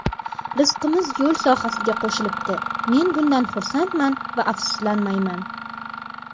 Rizqimiz yo‘l sohasiga qo‘shilibdi, men bundan xursandman va afsuslanmayman.